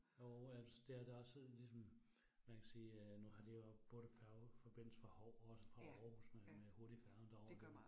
Jo altså dér der også ligesom man kan sige øh nu har de jo både færgeforbindelse fra Hou også fra Aarhus med med hurtigfærgen derovre